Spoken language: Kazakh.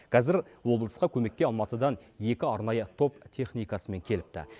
қазір облысқа көмекке алматыдан екі арнайы топ техникасымен келіпті